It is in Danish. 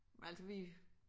Men altså vi